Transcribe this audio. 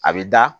A bɛ da